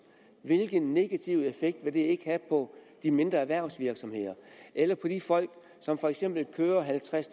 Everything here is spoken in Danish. hvilken negativ effekt vil det ikke have på de mindre erhvervsvirksomheder eller på de folk som for eksempel kører halvtreds